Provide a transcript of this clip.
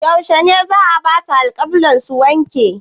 Yaushe ne za'a basu alƙebba su wanke?